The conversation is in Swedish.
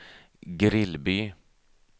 Grillby